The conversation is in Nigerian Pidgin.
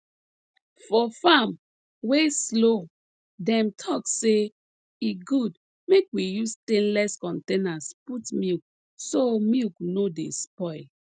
for farm wey slow dem talk say e good make we use stainless containers put milk so milk no dey spoil